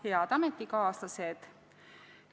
Head ametikaaslased!